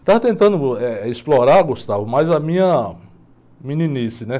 Estava tentando, uh, eh, explorar, mais a minha meninice, né?